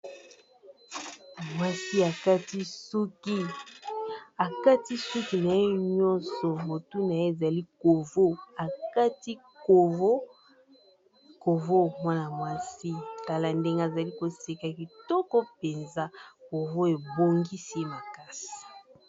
akati suki na ye nyonso motu na ye ezali kati covo mwana-mwasi kala ndenge azali koseka kitoko mpenza covo ebongisi ye makasi